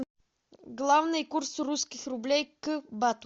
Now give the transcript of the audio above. главный курс русских рублей к бату